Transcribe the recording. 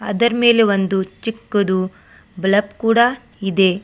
Other ಮೇಲೆ ಒಂದು ಚಿಕ್ಕದು ಬಲಪ್ ಕೂಡ ಇದೆ.